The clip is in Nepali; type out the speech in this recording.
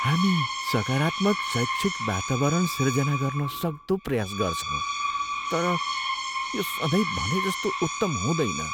हामी सकारात्मक शैक्षिक वातावरण सिर्जना गर्न सक्दो प्रयास गर्छौँ तर यो सधैँ भनेजस्तो उत्तम हुँदैन।